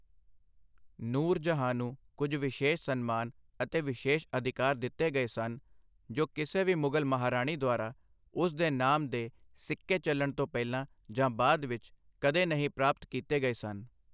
ਨੂਰ ਜਹਾਂ ਨੂੰ ਕੁਝ ਵਿਸ਼ੇਸ਼ ਸਨਮਾਨ ਅਤੇ ਵਿਸ਼ੇਸ਼ ਅਧਿਕਾਰ ਦਿੱਤੇ ਗਏ ਸਨ ਜੋ ਕਿਸੇ ਵੀ ਮੁਗਲ ਮਹਾਰਾਣੀ ਦੁਆਰਾ ਉਸ ਦੇ ਨਾਮ ਦੇ ਸਿੱਕੇ ਚੱਲਣ ਤੋਂ ਪਹਿਲਾਂ ਜਾਂ ਬਾਅਦ ਵਿੱਚ ਕਦੇ ਨਹੀਂ ਪ੍ਰਾਪਤ ਕੀਤੇ ਗਏ ਸਨ।